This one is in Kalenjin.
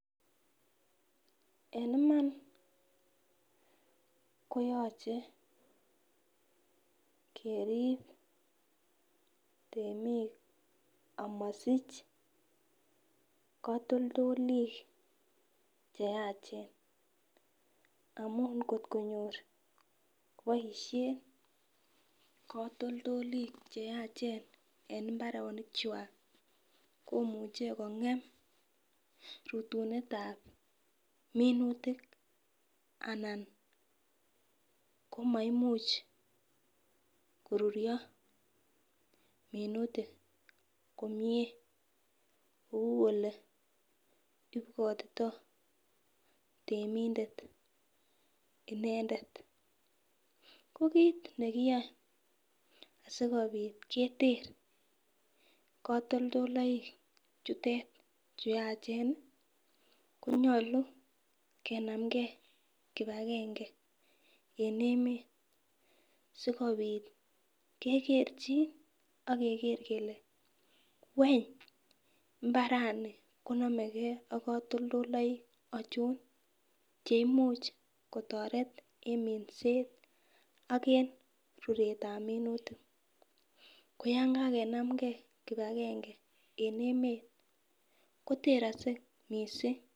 En Iman koyoche keribe temik amosich kotoldolik cheyach amun kotkonyor koboishen kotoldolik cheyach en imbarenik kwak komuche kongem rutunetab minutik anan komaimuch koruryo minutik komie kou oleibwotito temindet inendet. Ko kit nekiyoe sikopit keter kotoldolik chutet chu yachen konyolu kenamgee kipagenge en emet sikopit kekerchin akeger kele want imbarani konomegee ak kotoldoloik ochon cheimuch kotoret en minset ak en ruretab minutik koyan kakenmgee kipagenge en emet koterokse missing.